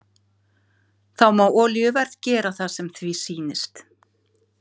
Þá má olíuverð gera það sem því sýnist.